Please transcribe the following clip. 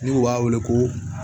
Ni u b'a wele ko